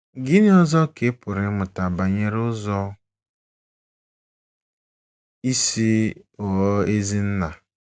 Gịnị ọzọ ka a pụrụ ịmụta banyere ụzọ isi ghọọ ezi nna?